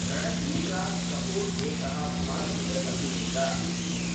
रणधीर् राज् कपूर् एकः भारतीय अभिनेता,